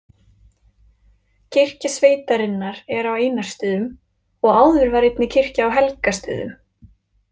Kirkja sveitarinnar er á Einarsstöðum og áður var einnig kirkja á Helgastöðum.